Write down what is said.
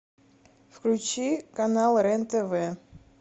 включи канал рен тв